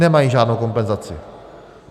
Nemají žádnou kompenzaci.